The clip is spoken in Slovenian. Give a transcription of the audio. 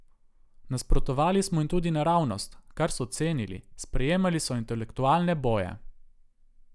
Nasprotovali smo jim tudi naravnost, kar so cenili, sprejemali so intelektualne boje.